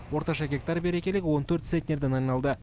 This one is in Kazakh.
орташа гектар берекелігі он төрт центнерден айналды